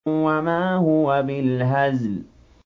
وَمَا هُوَ بِالْهَزْلِ